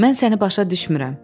Mən səni başa düşmürəm.